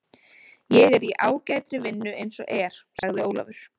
Ég er í ágætri vinnu eins og er, sagði Ólafur.